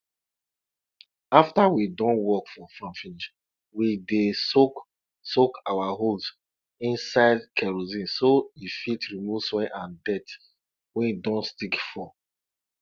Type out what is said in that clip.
after we don work for farm finish we dey soak soak our hoes inside kerosine so e fit remove soil and dirt wey don stick for